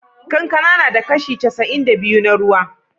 Kankana na da kashi casa'in da biyu na ruwa.